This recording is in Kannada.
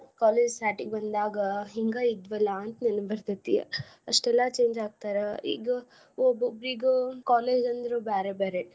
College starting ಬಂದಾಗ ಹಿಂಗಾ ಇದ್ವಿಲಾ. ಅಂತ್ ನೆನಪ್ ಬರ್ತೆತಿ ಅಷ್ಟೆಲ್ಲಾ change ಆಗ್ತಾರ. ಈಗ ಒಬ್ಬೊಬ್ಬ್ರಿಗ college ಅಂದ್ರೆ ಬ್ಯಾರೆ ಬ್ಯಾರೆ.